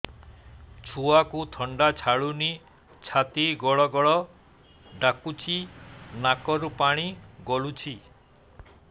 ଛୁଆକୁ ଥଣ୍ଡା ଛାଡୁନି ଛାତି ଗଡ୍ ଗଡ୍ ଡାକୁଚି ନାକରୁ ପାଣି ଗଳୁଚି